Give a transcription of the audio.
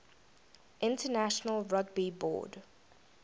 international rugby board